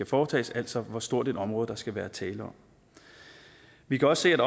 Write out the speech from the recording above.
foretages altså hvor stort et område skal der være tale om vi kan også se at